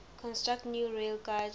construct new railgauge